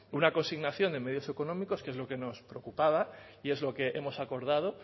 una consignación de medios económicos que es lo que nos preocupaba y es lo que hemos acordado